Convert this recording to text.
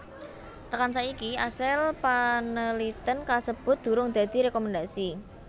Tekan saiki asil paneliten kasebut durung dadi rekomendasi